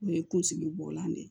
O ye kunsigi bɔlan de ye